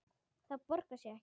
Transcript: Það borgar sig ekki